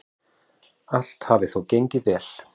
Allt hafi þó gengið vel.